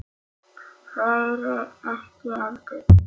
Þeir ekki heldur.